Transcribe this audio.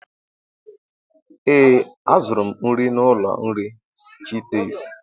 ee, azụrụ m nri n'ụlọ nri chitis